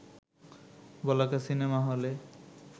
বলাকা cinema হলে